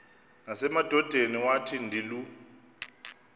nasemadodeni wathi ndilu